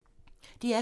DR P2